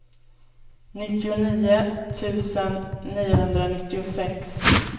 nittionio tusen niohundranittiosex